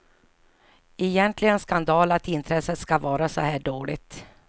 Egentligen skandal att intresset ska vara så här dåligt.